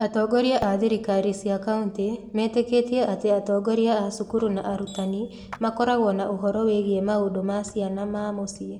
Atongoria a thirikari cia county metĩkĩtie atĩ atongoria a cukuru na arutani makoragwo na ũhoro wĩgiĩ maũndũ ma ciana ma mũciĩ